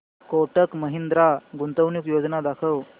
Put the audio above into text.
कोटक महिंद्रा गुंतवणूक योजना दाखव